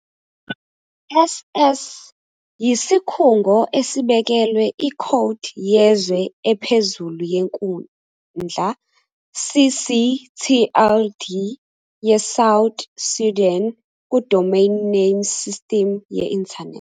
" '.ss' " yisikhungo esibekelwe ikhodi yezwe ephezulu yenkundla, ccTLD, ye South Sudan ku- Domain Name System ye Internet.